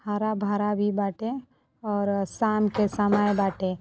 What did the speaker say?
हरा-भरा भी बाटे और शाम के समय बाटे।